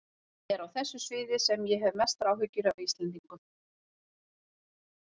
Það er á þessu sviði sem ég hef mestar áhyggjur af Íslendingum.